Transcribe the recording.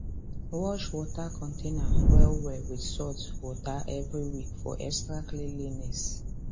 wash water container well well with salt water every week for extra cleanliness